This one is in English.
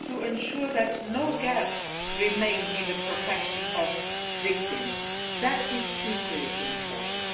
Ensuring that no gaps remain in the protection of victims is equally important.